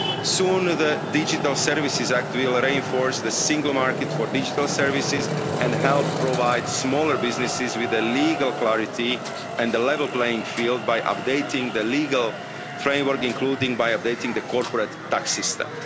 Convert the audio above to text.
Soon, the digital services act will reinforce the single market for digital services and help provide smaller businesses with legal clarity and a level playing field by updating the legal framework, including by updating the corporate tax system.